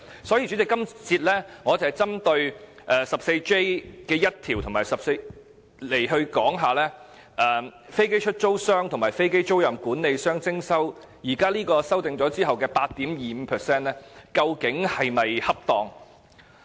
所以，主席，我今節會針對第 14J1 條，討論究竟經修訂後，向飛機出租商和飛機租賃管理商徵稅 8.25% 的做法是否恰當。